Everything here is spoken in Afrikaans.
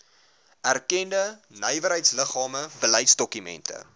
erkende nywerheidsliggame beleidsdokumente